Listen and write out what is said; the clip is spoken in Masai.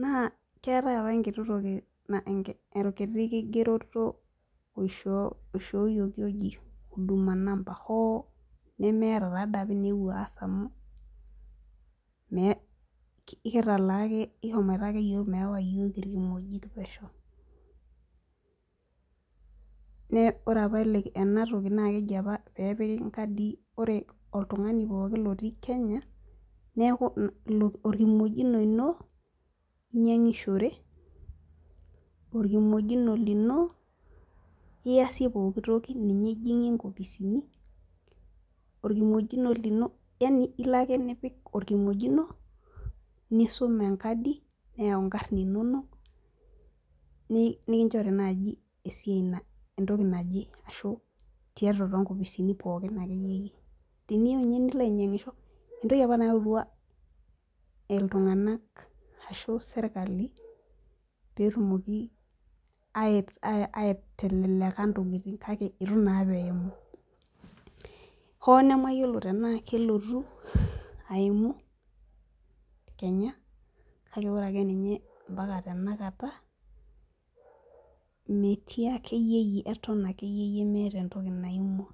naa, keetae apa enkiti kigeroto naishooyioki naji huduma namba hoo nemeeta entoki naewuo aass amu kitaalaa ake kishomoito ake yiook meewa iyook irkimojik pesho. Ore apa enatoki naakeji apa peepiki nkadii ore oltung'ani pooki otii Kenya neeku orkimojino lino inyiang'ishore, orkimojino lino iyasie pooki toki entoki. Ilo ake nipik orkimojino lino nisum enkadi neyaau nkarn inono teniyieu aitoki ata too nkopisini entoki apa nayaua sirkali pee itelelek ntokitin hoo nemayiolo teenaa kelotu aimu kake ore ninye tenakata eton akeyie meeta entoki naaimua.